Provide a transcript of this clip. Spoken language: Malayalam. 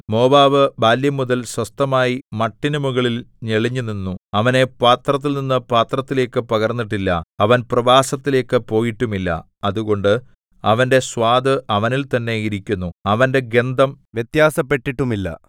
മോവാബ് ബാല്യംമുതൽ സ്വസ്ഥമായി മട്ടിനു മുകളിൽ തെളിഞ്ഞുനിന്നു അവനെ പാത്രത്തിൽനിന്നു പാത്രത്തിലേക്കു പകർന്നിട്ടില്ല അവൻ പ്രവാസത്തിലേക്കു പോയിട്ടുമില്ല അതുകൊണ്ട് അവന്റെ സ്വാദ് അവനിൽ തന്നെ ഇരിക്കുന്നു അവന്റെ ഗന്ധം വ്യത്യാസപ്പെട്ടിട്ടുമില്ല